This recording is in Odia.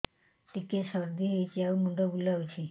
ଟିକିଏ ସର୍ଦ୍ଦି ହେଇଚି ଆଉ ମୁଣ୍ଡ ବୁଲାଉଛି